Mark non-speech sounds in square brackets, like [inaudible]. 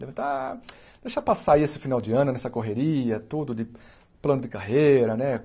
[unintelligible] Deixar passar aí esse final de ano, nessa correria, tudo de plano de carreira, né?